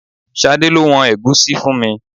Ṣadé lo wọn ẹ̀gúsí fún mi.